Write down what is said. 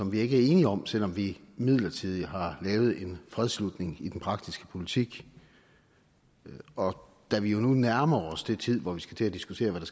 vi ikke er enige om selv om vi midlertidigt har lavet en fredsslutning i den praktiske politik og da vi jo nu nærmer os den tid hvor vi skal til at diskutere hvad